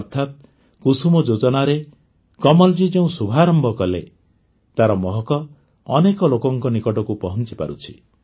ଅର୍ଥାତ କୁସୁମ ଯୋଜନାରେ କମଲ୍ ଜୀ ଯେଉଁ ଶୁଭାରମ୍ଭ କଲେ ତାର ମହକ ଅନେକ ଲୋକଙ୍କ ନିକଟକୁ ପହଞ୍ଚିପାରୁଛି